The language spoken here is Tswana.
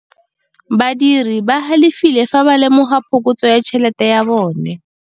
Badiri ba galefile fa ba lemoga phokotsô ya tšhelête ya bone.